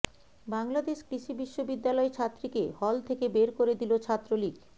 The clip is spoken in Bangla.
বাংলাদেশ কৃষি বিশ্ববিদ্যালয় ছাত্রীকে হল থেকে বের করে দিল ছাত্রলীগ